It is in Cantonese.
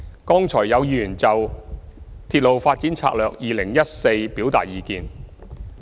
剛才有議員就《鐵路發展策略2014》表達意見。